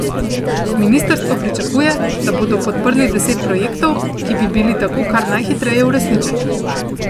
Ministrstvo pričakuje, da bodo podprli deset projektov, ki bi bili tako kar najhitreje uresničeni.